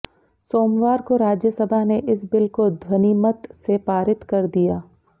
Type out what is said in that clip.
सोमवार को राज्यसभा ने इस बिल को ध्वनिमत से पारित कर दिया